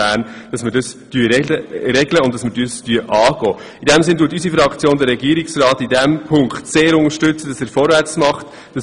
In diesem Sinne unterstützt unsere Fraktion die Regierung darin, in diesem Punkt vorwärtszumachen.